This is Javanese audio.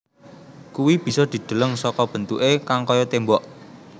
Kuwi bisa dideleng saka bentuke kang kaya tembok